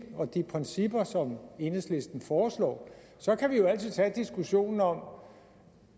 og de principper som enhedslisten foreslår så kan vi jo altid tage diskussionen om